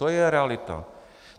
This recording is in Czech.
To je realita.